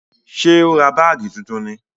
Ṣé ó ra báàgì tuntun ni?